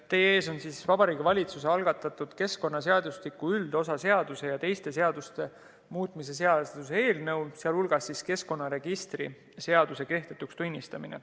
Teie ees on Vabariigi Valitsuse algatatud keskkonnaseadustiku üldosa seaduse ja teiste seaduste muutmise seaduse eelnõu, sh keskkonnaregistri seaduse kehtetuks tunnistamine.